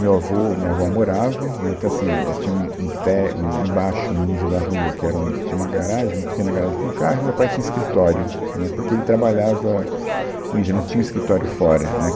Meu avô e a minha avó moravam, né, então assim, é, tinha um um te, um embaixo, no nível da rua, que era um, tinha uma garagem, uma pequena garagem para um carro, e o meu pai tinha escritório, né, porque ele trabalhava com isso, ele não tinha um escritório fora, né.